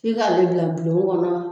F'i k'ale bila bulon kɔnɔ